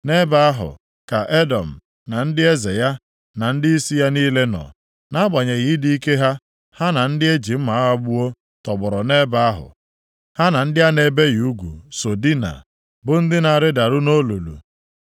“Nʼebe ahụ ka Edọm na ndị eze ya, na ndịisi ya niile nọ. Nʼagbanyeghị ịdị ike ha, ha na ndị e ji mma agha gbuo tọgbọrọ nʼebe ahụ. Ha na ndị a na-ebighị ugwu so dinaa, bụ ndị na-arịdaru nʼolulu.